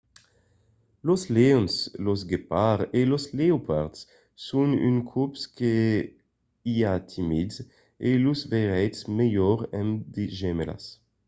los leons los guepards e los leopards son d'unes còps que i a timids e los veiretz melhor amb de gemèlas